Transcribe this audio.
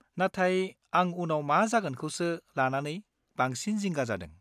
-नाथाय आं उनाव मा जागोनखौसो लानानै बांसिन जिंगा जादों।